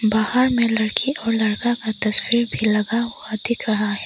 बाहर में लड़की और लड़का का तस्वीर भी लगा हुआ दिख रहा है।